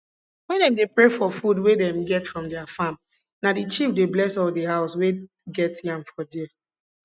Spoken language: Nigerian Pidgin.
wen dem dey pray for food wey dem get from their farm na the chief dey bless all di house wey get yam for di